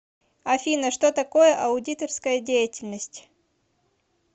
афина что такое аудиторская деятельность